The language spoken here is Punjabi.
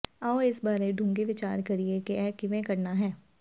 ਆਓ ਇਸ ਬਾਰੇ ਡੂੰਘੀ ਵਿਚਾਰ ਕਰੀਏ ਕਿ ਇਹ ਕਿਵੇਂ ਕਰਨਾ ਹੈ